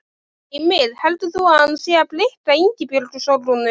Heimir: Heldur þú að hann sé að blikka Ingibjörgu Sólrúnu?